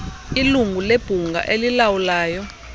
ilungu lebhunga elilawulayo